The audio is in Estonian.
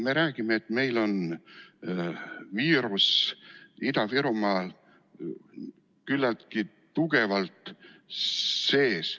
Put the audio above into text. Me räägime, et meil on viirus Ida-Virumaal küllaltki tugevalt sees.